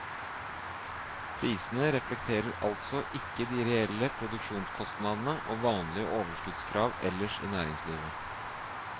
Prisene reflekterer altså ikke de reelle produksjonskostnadene og vanlige overskuddskrav ellers i næringslivet.